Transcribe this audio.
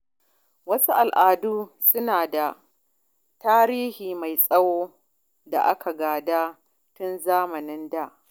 Wasu al’adun suna da tarihi mai tsawo da aka gada tun zamanin da.